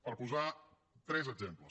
per posar tres exemples